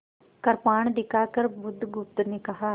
कृपाण दिखाकर बुधगुप्त ने कहा